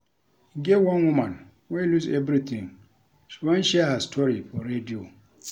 E get one woman wey lose everything she wan share her story for radio